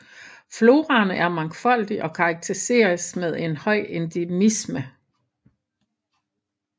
Floraen er mangfoldig og karakteriseret med høj endemisme